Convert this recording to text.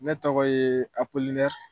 Ne tɔgɔ yee Apolinɛr